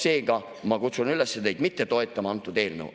Seega ma kutsun üles mitte toetama seda eelnõu.